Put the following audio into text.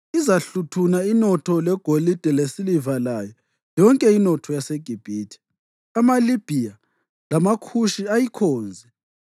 Izahluthuna inotho legolide lesiliva layo yonke inotho yaseGibhithe, amaLibhiya lamaKhushi ayikhonze.